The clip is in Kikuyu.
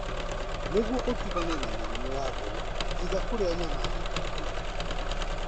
Nĩguo ũtigane na mĩrimũ ya ngoro, iga kũrĩa nyama nyekundu.